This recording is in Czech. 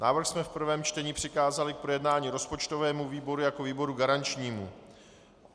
Návrh jsme v prvém čtení přikázali k projednání rozpočtovému výboru jako výboru garančnímu.